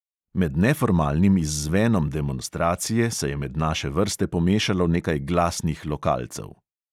Med neformalnim izzvenom demonstracije se je med naše vrste pomešalo nekaj glasnih lokalcev.